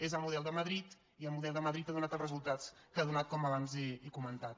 és el model de madrid i el model de madrid ha donat els resultats que ha donat com abans he comentat